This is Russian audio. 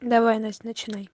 давай насть начинай